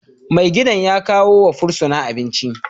Mai gadin ya kawo wa fursuna abinci